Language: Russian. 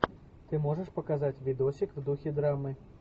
ты можешь показать видосик в духе драмы